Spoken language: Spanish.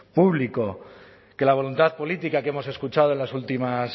público que la voluntad política que hemos escuchado en las últimas